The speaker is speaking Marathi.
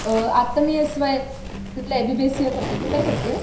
आता मी एस वाय.ला बीसीए करतीय . तू काय करती आहेस?